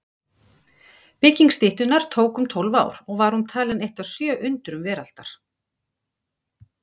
Bygging styttunnar tók um tólf ár og var hún talin eitt af sjö undrum veraldar.